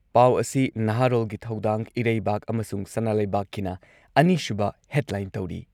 ꯄꯥꯎ ꯑꯁꯤ ꯅꯍꯥꯔꯣꯜꯒꯤ ꯊꯧꯗꯥꯡ, ꯏꯔꯩꯕꯥꯛ ꯑꯃꯁꯨꯡ ꯁꯅꯥꯂꯩꯕꯥꯛꯀꯤꯅ ꯑꯅꯤꯁꯨꯕ ꯍꯦꯗꯂꯥꯏꯟ ꯇꯧꯔꯤ ꯫